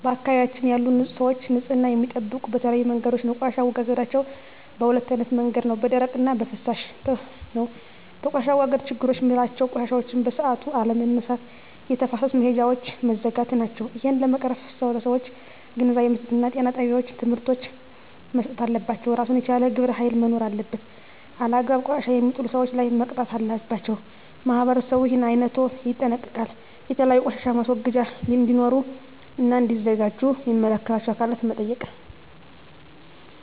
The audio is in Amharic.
በአካባቢያችን ያሉ ሰዎች ንፅህና የሚጠብቁ በተለያዩ መንገዶች ነው ቆሻሻ አወጋገዳቸዉ በ2አይነት መንገድ ነው በደረቅ እና በፍሳሽ ነው በቆሻሻ አወጋገድ ችግሮች ምላቸው ቆሻሻዎችን በሠአቱ አለመነሳት የተፋሰስ መሄጃውች መዝጋት ናቸው እሄን ለመቅረፍ ለሠዎች ግንዛቤ መስጠት እና ጤና ጣቤዎች ትምህርቶች መሰጠት አለባቸው እራሱን የቻለ ግብረ ሀይል መኖር አለበት አላግባብ ቆሻሻ የሜጥሉ ሠዎች ላይ መቅጣት አለባቸው ማህበረሠቡ እሄን አይነቶ ይጠነቀቃሉ የተለያዩ ቆሻሻ ማስወገጃ እዴኖሩ እና እዲዘጋጁ ሚመለከታቸው አካላት መጠየቅ